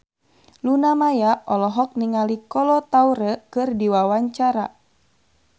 Luna Maya olohok ningali Kolo Taure keur diwawancara